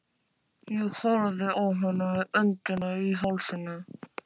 Ég horfði á hana með öndina í hálsinum.